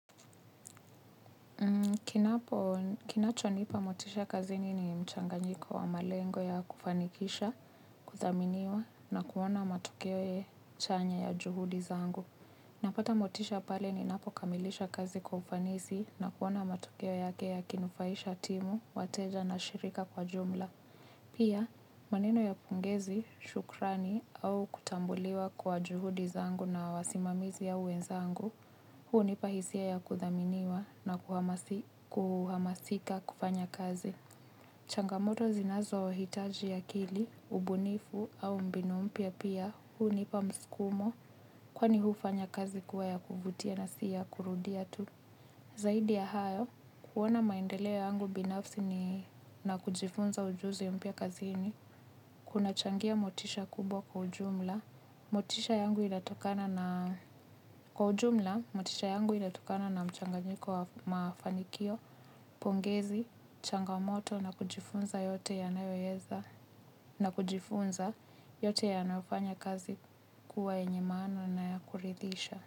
Kinacho nipa motisha kazini ni mchanganyiko wa malengo ya kufanikisha, kudhaminiwa na kuona matokeo chanya ya juhudi zangu. Napata motisha pale ninapo kamilisha kazi kwa ufanisi na kuona matokeo yake yakinufaisha timu, wateja na shirika kwa jumla. Pia, maneno ya pongezi, shukrani au kutambuliwa kwa juhudi zangu na wasimamizi au wenzangu, hunipa hisia ya kudhaminiwa na kuhamasika kufanya kazi. Changamoto zinazohitaji akili, ubunifu au mbinu mpya pia hunipa msukumo, kwani hufanya kazi kuwa ya kuvutia na si ya kurudia tu. Zaidi ya hayo, kuona maendeleo yangu binafsi na kujifunza mbinu mpya kazini, kunachangia motisha kwa ujumla. Motisha yangu inatokana na kwa ujumla, motisha yangu ilatokana na mchanganyiko wa mafanikio, pongezi, changamoto na kujifunza yote yanayoweza, na kujifunza yote yanafanya kazi kuwa enyemano na kuridhisha.